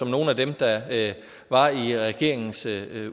nogle af dem der var i regeringens